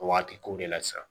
Waati kow de la sisan